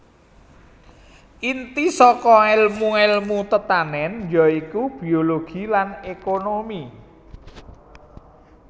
Inti saka èlmu èlmu tetanèn ya iku biologi lan ékonomi